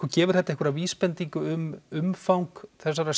gefur þetta einhverja vísbendingu um umfang þessarar